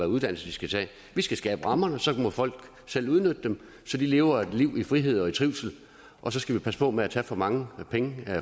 uddannelse de skal tage vi skal skabe rammerne så må folk selv udnytte dem så de lever et liv i frihed og trivsel og så skal vi passe på med at tage for mange penge